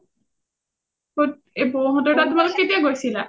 এই হ’তৰ তাত কেতিয়া গৈছিলা?